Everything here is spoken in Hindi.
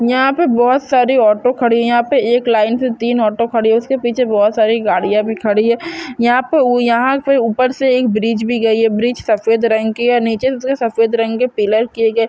यहाँ पे बहुत सारी ऑटो खड़ी है यहाँ पे एक लाइन से तीन ऑटो खड़ी है उस के पीछे बहुत सारी गाड़िया भी खड़ी है यहाँ पे यहाँ पे ऊपर से एक ब्रिज भी गई है ब्रिज सफेद रंग की है। नीचे उस के सफेद रंग के पिलर किए गए--